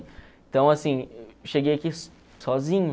Então assim, cheguei aqui sozinho.